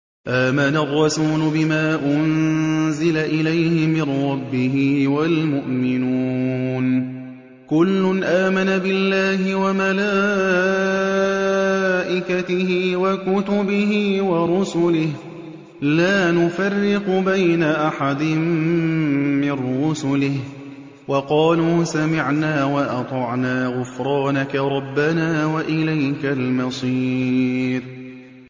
آمَنَ الرَّسُولُ بِمَا أُنزِلَ إِلَيْهِ مِن رَّبِّهِ وَالْمُؤْمِنُونَ ۚ كُلٌّ آمَنَ بِاللَّهِ وَمَلَائِكَتِهِ وَكُتُبِهِ وَرُسُلِهِ لَا نُفَرِّقُ بَيْنَ أَحَدٍ مِّن رُّسُلِهِ ۚ وَقَالُوا سَمِعْنَا وَأَطَعْنَا ۖ غُفْرَانَكَ رَبَّنَا وَإِلَيْكَ الْمَصِيرُ